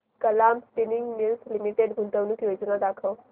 Kalam spinning mills limited गुंतवणूक योजना दाखव